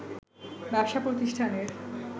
ব্যবসাপ্রতিষ্ঠানের